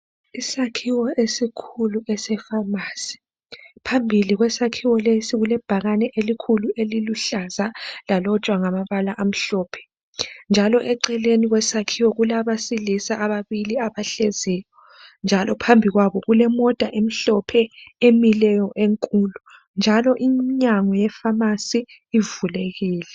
Isakhiwo esikhulu esefamasi, phambili kwesakhiwo lesi kulebhakane elikhulu eliluhlaza lalotshwa ngamabala amhlophe. Njalo eceleni kwesakhiwo kulabesilisa ababili abahleziyo njalo phambi kwabo kulemota emhlophe emileyo enkulu njalo imnyango yefamasi ivulekile.